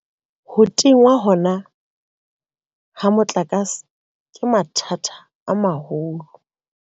Ho tingwa hona ha motlakase, ke mathata a maholo.